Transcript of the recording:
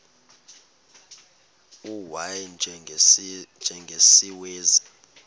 u y njengesiwezi